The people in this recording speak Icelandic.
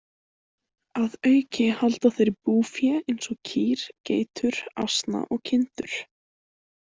Að auki halda þeir búfé eins og kýr, geitur, asna og kindur.